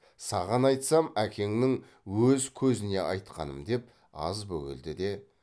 саған айтсам әкеңнің өз көзіне айтқаным деп аз бөгелді де